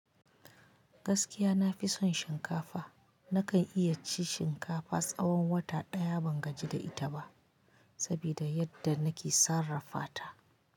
Gaskiya nafi son shinkafa. Nakan iya cin shinkafa tsawon wata ɗaya ban gaji da ita ba, saboda yadda nake sarrafa ta.